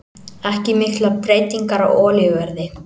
Ekki miklar breytingar á olíuverði